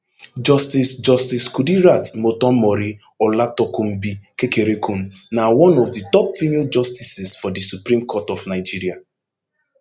justice justice kudirat motonmori olatokunbo kekereekun na one of di top female justices for di supreme court of nigeria